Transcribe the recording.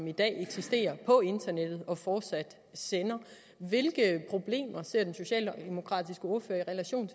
i dag eksisterer på internettet og fortsat sender hvilke problemer ser den socialdemokratiske ordfører i relation